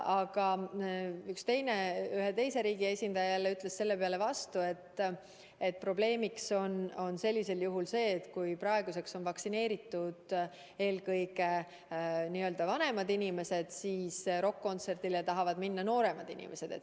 Aga ühe teise riigi esindaja ütles selle peale vastu, et probleemiks on sellisel juhul see, et kui praeguseks on vaktsineeritud eelkõige vanemad inimesed, siis rokk-kontserdile tahavad minna nooremad inimesed.